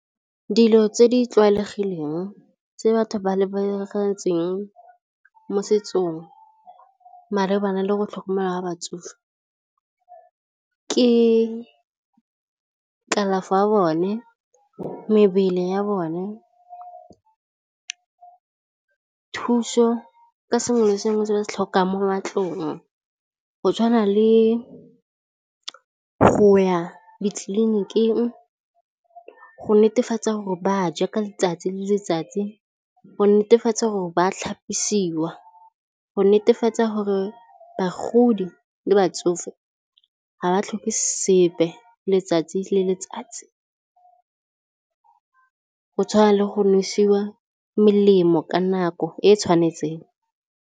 Dilo tse di tlwaelegileng tse batho ba mo setsong malebana le go tlhokomelwa ga batsofe ke kalafo ya bone, mebele ya bone, thuso ka sengwe le sengwe se ba tlhokang mo matlong go tshwana le go ya ditleliniking, go netefatsa gore ba ja ka letsatsi le letsatsi, go netefatsa gore ba tlhapisiwa, go netefatsa gore bagodi le batsofe ga ba tlhoke sepe letsatsi le letsatsi go tshwana le go nosiwa melemo ka nako e e tshwanetseng.